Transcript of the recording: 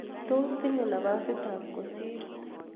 Tos tinye nafasit ab kosir